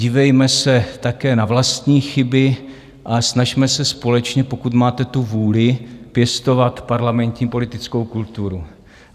Dívejme se také na vlastní chyby a snažme se společně, pokud máte tu vůli pěstovat parlamentní politickou kulturu.